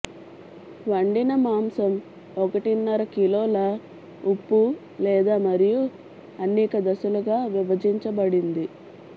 వండిన మాంసం ఒకటిన్నర కిలోల ఉప్పు లేదు మరియు అనేక దశలుగా విభజించబడింది